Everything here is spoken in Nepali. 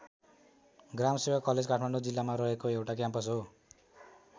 ग्रामसेवा कलेज काठमाडौँ जिल्लामा रहेको एउटा क्याम्पस हो।